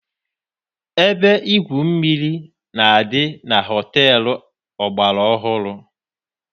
Ebe igwu mmiri na-adị na họteelu ọgbara ọhụrụ.